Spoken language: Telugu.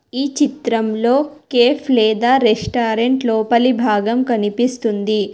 ఈ చిత్రంలో కేఫ్ లేదా రెస్టారెంట్ లోపలి భాగం కనిపిస్తుంది.